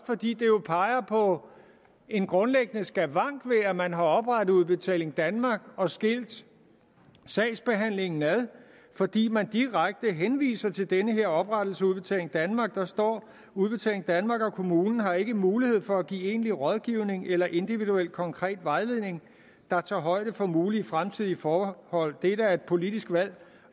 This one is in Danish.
fordi det jo peger på en grundlæggende skavank ved at man har oprettet udbetaling danmark og skilt sagsbehandlingen ad fordi man direkte henviser til denne oprettelse af udbetaling danmark der står udbetaling danmark og kommunen har ikke mulighed for at give egentlig rådgivning eller individuel konkret vejledning der tager højde for mulige fremtidige forhold det er da et politisk valg